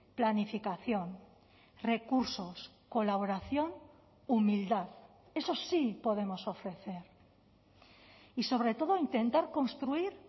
planificación recursos colaboración humildad eso sí podemos ofrecer y sobre todo intentar construir